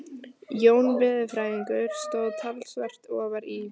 Jón veðurfræðingur stóð talsvert ofar í